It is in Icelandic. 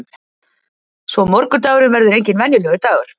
Svo morgundagurinn verður enginn venjulegur dagur.